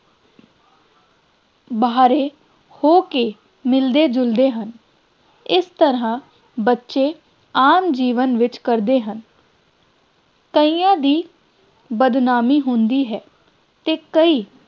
ਬਾਹਰੇ ਹੋ ਕੇ ਮਿਲਦੇ ਜੁਲਦੇ ਹਨ ਇਸ ਤਰ੍ਹਾਂ ਬੱਚੇ ਆਮ ਜੀਵਨ ਵਿੱਚ ਕਰਦੇ ਹਨ ਕਈਆਂ ਦੀ ਬਦਨਾਮੀ ਹੁੰਦੀ ਹੈ ਅਤੇ ਕਈ